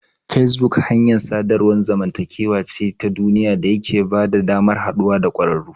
Facebook hanyar sadarwar zamantakewa ce ta duniya da yake bada damar haɗuwa da ƙwararru.